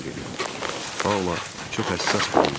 Paula çox həssas biri imiş.